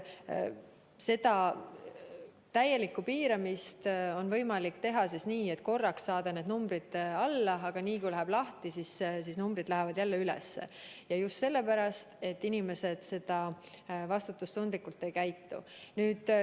Täieliku piiramise korral on võimalik korraks need numbrid alla saada, aga niipea kui kõik tehakse lahti, lähevad numbrid jälle üles ja seda just sellepärast, et inimesed ei käitu vastutustundlikult.